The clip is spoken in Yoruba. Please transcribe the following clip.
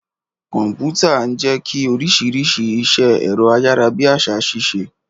Kọ̀m̀pútà ń jẹ́ kí oríṣiríṣi iṣẹ́ ẹ̀rọ ayárabíàṣá ṣiṣẹ́.